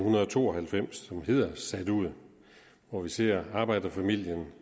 to og halvfems som hedder sat ud hvor vi ser arbejderfamilien